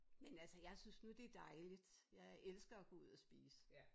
Men altså jeg synes nu det dejligt jeg øh elsker at gå ud at spise